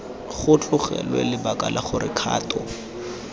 tlogelwe lebaka la gore kgato